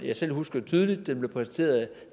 jeg selv husker tydeligt den blev præsenteret af den